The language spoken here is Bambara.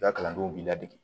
I ka kalandenw b'i ladege